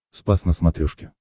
спас на смотрешке